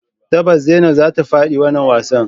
Tabbas zainab zata fadi wannan wasan.